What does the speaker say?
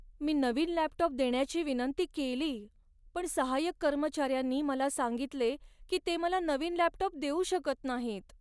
मी नवीन लॅपटॉप देण्याची विनंती केली पण सहाय्यक कर्मचाऱ्यांनी मला सांगितले की ते मला नवीन लॅपटॉप देऊ शकत नाहीत.